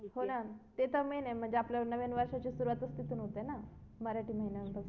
हो ना ते तर main main म्हणजे आपल्या नव्या वर्षाची सुरुवात तिथून होते ना मराठी महिन्यानुसार